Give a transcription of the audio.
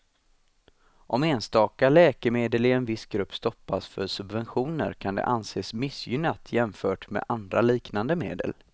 Om enstaka läkemedel i en viss grupp stoppas för subventioner kan det anses missgynnat jämfört med andra liknande medel.